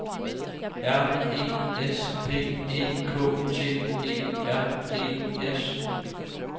R E S P E K T E R E S